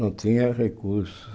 Não tinha recursos.